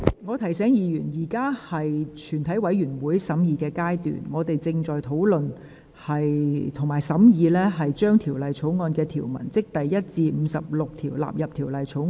我提醒委員，現在是全體委員會審議階段，本會正在討論和審議將第1至59條以及附表1及2納入《條例草案》。